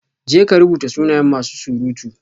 Jeka rubuta sunayen masu surutu